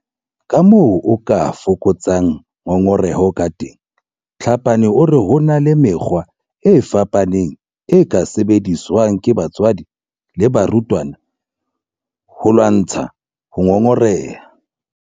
Kamoo o ka fokotsang ngongoreho kateng Tlhapane o re ho na le mekgwa e fapaneng e ka sebediswang ke batswadi le barutwana ho lwantsha ho ngongoreha.